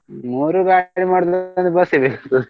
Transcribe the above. ಮೂರು ಗಾಡಿ .